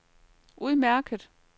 udmærket